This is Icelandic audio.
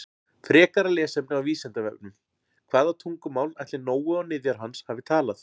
Frekara lesefni á Vísindavefnum: Hvaða tungumál ætli Nói og niðjar hans hafi talað?